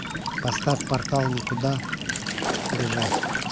поставь портал некуда бежать